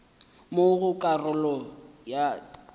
mo go karolo ya etulo